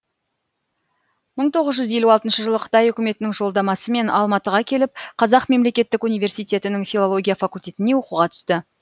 мың тоғыз жүз елу алтыншы жылы қытай үкіметінің жолдамасымен алматыға келіп қазақ мемлекеттік университетінің филология факультетіне оқуға түсті